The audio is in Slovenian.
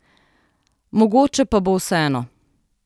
Mogoče pa bo vseeno.